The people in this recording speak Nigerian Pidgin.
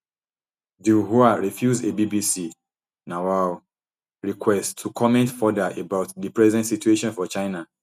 dui hua refuse a bbc um request to comment further about di present situation for china